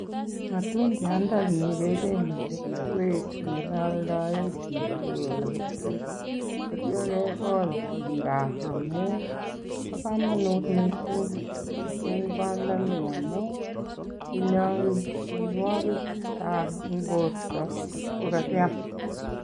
Matundiandani kecheng'e keswek en ole aldaen biik che kole keswek. Ye ityo kegol en gaa amun bo komonut mising machungwandani amun inyoe mianwogik che chang en borto ngiam.